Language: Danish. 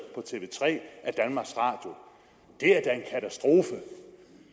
på tv tre af danmarks radio